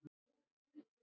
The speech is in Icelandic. Ég mátti fara.